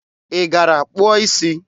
Ị gara kpụọ isi?